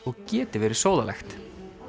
og geti verið sóðalegt